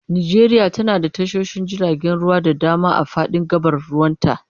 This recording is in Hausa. Najeriya tana da tashoshin jiragen ruwa da dama a fadin gabar ruwanta.